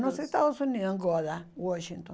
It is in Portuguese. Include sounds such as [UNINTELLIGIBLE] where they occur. Nos Estados Unidos [UNINTELLIGIBLE] Washington.